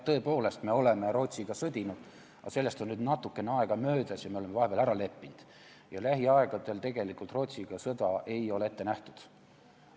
Tõepoolest, me oleme Rootsiga sõdinud, aga sellest on nüüd natukene aega möödas ja me oleme vahepeal ära leppinud ja lähiaegadel tegelikult Rootsiga sõda ei ole ette nähtud.